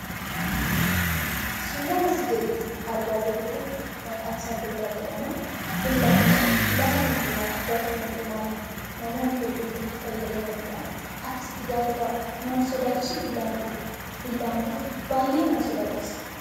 Suuraan asii gaditti argaa jirru kun maqaansaa billaa jedhama. Billaan kun lafa hundaamaattiifi bakka hundumaattii namoonni hedduun kan itti fayyadamanidha. Akkasitti yeroo taa'u nama insodaachisuu billaan kun? Billaan kun baay'ee nama sodaachisa.